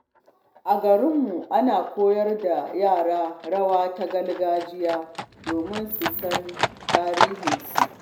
A garinmu, ana koyar da yara rawa ta gargajiya domin su san tarihinsu.